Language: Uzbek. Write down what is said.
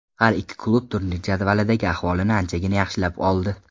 Har ikki klub turnir jadvalidagi ahvolini anchagina yaxshilab oldi.